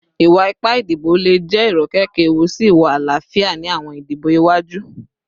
Iwa-ipa idibo le jẹ irokeke ewu si iwa alaafia ti awọn idibo iwaju